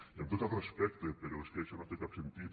i amb tot el respecte però és que això no té cap sentit